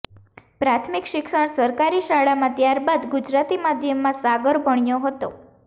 પ્રાથમિક શિક્ષણ સરકારી શાળામાં ત્યારબાદ ગુજરાતી માધ્યમમાં સાગર ભણ્યો હતો